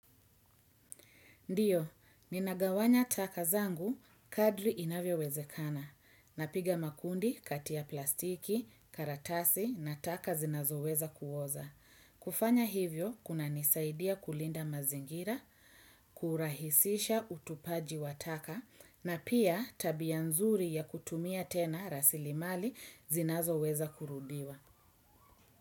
Ndiyo, ninagawanya taka zangu, kadri inavyo wezekana, napiga makundi kati ya plastiki, karatasi na taka zinazo weza kuoza. Kufanya hivyo, kuna nisaidia kulinda mazingira, kurahisisha utupaji wataka, na pia tabianzuri ya kutumia tena rasilimali zinazo weza kurudiwa.